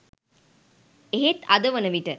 එහෙත් අද වන විට